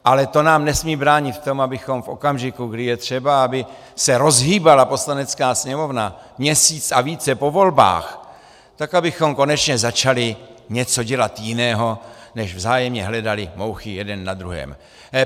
Ale to nám nesmí bránit v tom, abychom v okamžiku, kdy je třeba, aby se rozhýbala Poslanecká sněmovna měsíc a více po volbách, tak abychom konečně začali dělat něco jiného, než vzájemně hledali mouchy jeden na druhém.